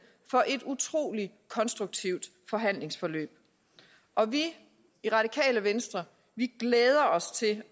for et utrolig konstruktivt forhandlingsforløb vi i radikale venstre glæder os til